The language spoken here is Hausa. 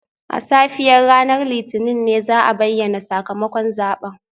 A safiyar ranar Litinin ne za a bayyana sakamakon zaben